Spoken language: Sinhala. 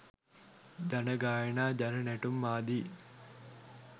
ජන ගායනා ජන නැටුම් ආදී